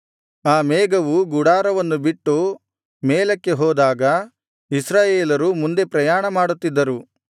ಆ ಮೇಘವು ಗುಡಾರವನ್ನು ಬಿಟ್ಟು ಮೇಲಕ್ಕೆ ಹೋದಾಗ ಇಸ್ರಾಯೇಲರು ಮುಂದೆ ಪ್ರಯಾಣ ಮಾಡುತ್ತಿದ್ದರು